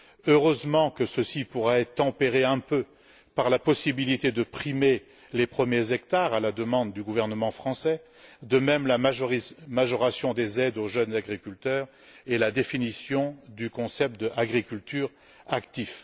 Heureusement que cela pourra être quelque peu tempéré par la possibilité de primer les premiers hectares, à la demande du gouvernement français, de même que par la majoration des aides aux jeunes agriculteurs et par la définition du concept de agriculture active.